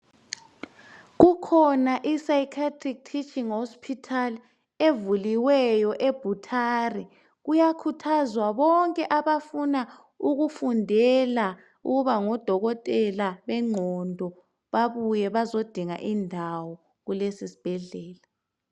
kukhona i cycatric teaching hospital evuliweyo ebhutare kuyakhuthazwa bonke abafuna ukufundela ukuba ngotokotela benqondo babuye bazodinga indawo kuleso sibhedlela